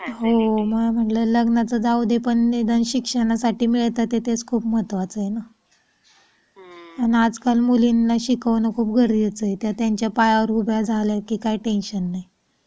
हो म्हंटलं लग्नच जाऊ दे पण शिक्षणासाठी मिळतात तेथेच खूप महत्त्वाचे आहे. पण आजकाल मुलींना शिकवू नको घरी येतोय त्या त्यांच्या पायावर उभ्या झाल्या की काय टेन्शन नाही.